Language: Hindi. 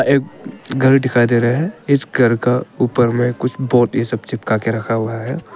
एक घर दिखाई दे रहा है इस घर का ऊपर में कुछ बोर्ड ये सब चिपका के रखा हुआ है।